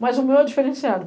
Mas o meu é diferenciado.